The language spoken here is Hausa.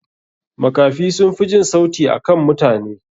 Makafi sunfi jin sauti akan mutane.